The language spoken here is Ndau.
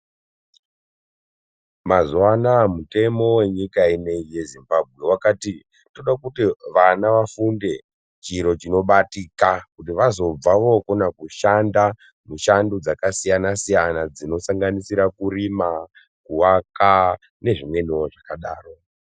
Mazuva anaya mitemo yenyika inoiyi yezimbambe vakati tirikuda kuti vana vafunde, chiro chinobatika kuti vazobva vokona kushanda mushando dzakasiyana-siyana, dzinosanganisira kurima, kuvaka nezvimwenivo zvakadaro.